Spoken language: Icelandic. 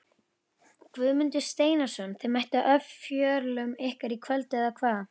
Guðmundur Steinarsson Þið mættuð ofjörlum ykkar í kvöld eða hvað?